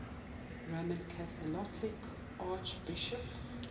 roman catholic archbishops